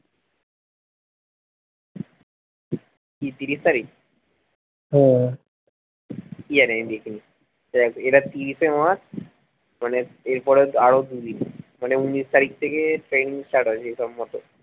কি তিরিশ তারিখ হম কি জানি আমি দেখিনি এই দেখ এটা তিরিশে মাস মানে এর পরে আরো দুদিন মানে উনিশ তারিখ থেকে training start হয়েছে হিসাব মতো